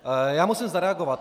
Já musím zareagovat.